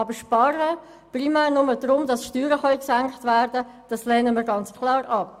Wir lehnen es aber ganz klar ab zu sparen, um damit primär Steuern senken zu können.